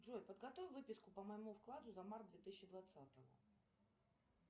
джой подготовь выписку по моему вкладу за март две тысячи двадцатого